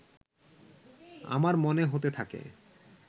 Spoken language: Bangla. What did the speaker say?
আমার মনে হতে থাকে